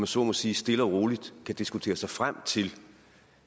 så må sige stille og roligt kan diskutere sig frem til